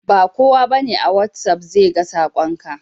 Bakowa bane a watsapp sega sakon ka.